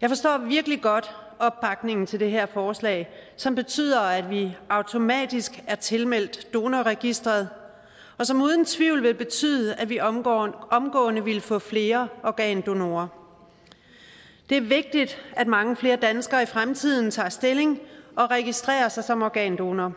jeg forstår virkelig godt opbakningen til det her forslag som betyder at vi automatisk er tilmeldt donorregistret og som uden tvivl vil betyde at vi omgående omgående ville få flere organdonorer det er vigtigt at mange flere danskere i fremtiden tager stilling og registrerer sig som organdonorer